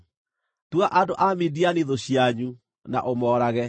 “Tua andũ a Midiani thũ cianyu na ũmoorage,